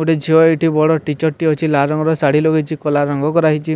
ଗୋଟେ ଝିଅ ଏଠି ବଡ ଟିଚର ଟିଏ ଅଛି ଲାଲ୍ ରଙ୍ଗର ଶାଢ଼ୀ ପିନ୍ଧି ଲଗେଇଚି କଲା ରଙ୍ଗ କରା ହେଇଚି